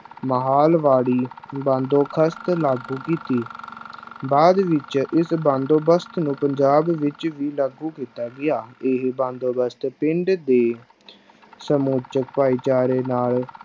ਮਹਿਲਵਾੜੀ ਬੰਦੋਬਸਤ ਲਾਗੂ ਕੀਤੀ ਬਾਅਦ ਵਿੱਚ ਇਸ ਬੰਦੋਬਸਤ ਨੂੰ ਪੰਜਾਬ ਵਿੱਚ ਵੀ ਲਾਗੂ ਕੀਤਾ ਗਿਆ, ਇਹ ਬੰਦੋਬਸਤ ਪਿੰਡ ਦੇ ਸਮੁੱਚੇ ਭਾਈਚਾਰੇ ਨਾਲ